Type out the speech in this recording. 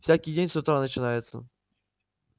всякий день с утра начинается